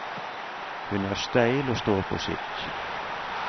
Hun er steil og står på sitt.